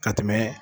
Ka tɛmɛ